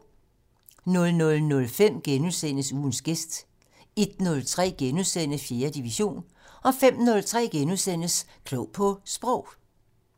00:05: Ugens gæst * 01:03: 4. division * 05:03: Klog på Sprog *